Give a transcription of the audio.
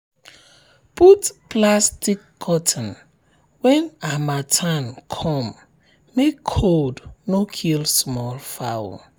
put plastic curtain when harmattan come make cold no kill small fowl.